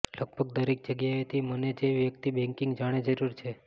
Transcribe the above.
લગભગ દરેક જગ્યાએથી મને જે વ્યક્તિ બેંકિંગ જાણે જરૂર છે